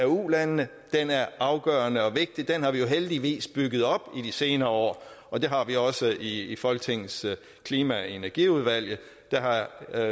ulandene er afgørende og vigtig den har vi jo heldigvis bygget op i de senere år og det har vi også i folketingets klima og energiudvalg der